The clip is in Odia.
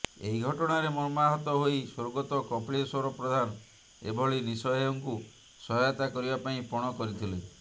ଏହି ଘଟଣାରେ ମର୍ମାହତ ହୋଇ ସ୍ୱର୍ଗତ କପିଳେଶ୍ୱର ପ୍ରଧାନ ଏଭଳି ନିଃସହାୟଙ୍କୁ ସହାୟତା କରିବା ପାଇଁ ପଣ କରିଥିଲେ